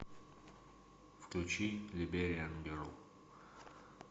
включи либериан герл